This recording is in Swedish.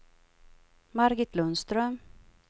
Margit Lundström